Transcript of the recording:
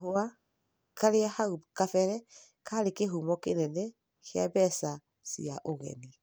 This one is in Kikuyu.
Kahũa, karĩa hau gabere karĩ kĩhumo kĩnene kĩa mbeca cia ũgeni